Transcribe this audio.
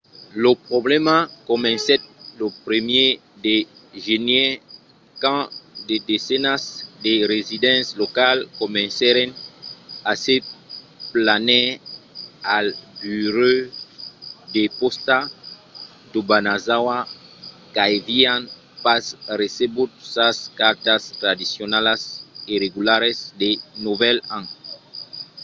lo problèma comencèt lo 1èr de genièr quand de desenas de residents locals comencèron a se plànher al burèu de pòsta d'obanazawa qu'avián pas recebut sas cartas tradicionalas e regularas de novèl an